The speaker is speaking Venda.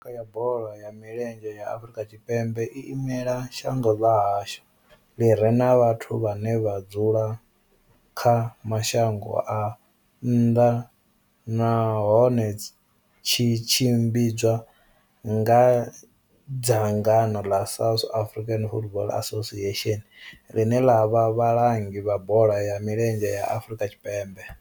Thimu ya lushaka ya bola ya milenzhe ya Afrika Tshipembe i imela shango ḽa hashu ḽi re na vhathu vhane vha dzula kha mashango a nnḓa nahone tshi tshimbidzwa nga dzangano ḽa South African Football Association, ḽine ḽa vha vhalangi vha bola ya milenzhe Afrika Tshipembe.